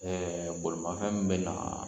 Ɛɛ bolomafɛn min bɛ na